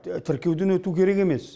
тіркеуден өту керек емес